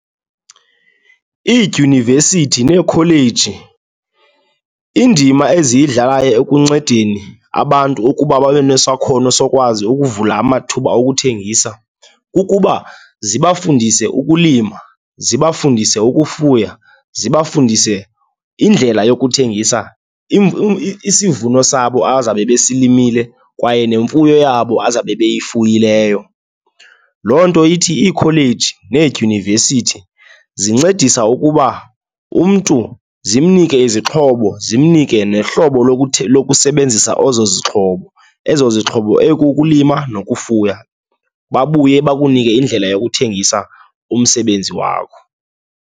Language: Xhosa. Iidyunivesithi neekholeji, indima eziyidlalayo ekuncedeni abantu ukuba babe nesakhono sokwazi ukuvula amathuba okuthengisa, kukuba ziba fundise ukulima, ziba fundise ukufuya, ziba fundise indlela yokuthengisa isivuno sabo abazawube besilimile kwaye nemfuyo yabo abazawube beyifuyileyo. Loo nto ithi iikholeji needyunivesithi zincedisa ukuba umntu zimnike izixhobo, zimnike nohlobo lokusebenzisa ezo zixhobo, ezo zixhobo ekukulima nokufuya, babuye bakunike indlela yokuthengisa umsebenzi wakho.